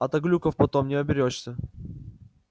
а то глюков потом не оберёшься